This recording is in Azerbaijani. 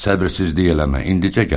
Səbirsizlik eləmə, indicə gələr.